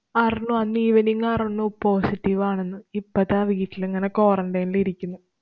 അറിഞ്ഞു. അന്ന് evening അറ്ന്നു positive ആണെന്ന്. ഇപ്പ ദാ വീട്ടിലിങ്ങനെ quarantine ല് ഇരിക്കുന്നു.